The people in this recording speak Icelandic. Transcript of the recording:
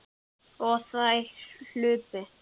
Og þær hlupu.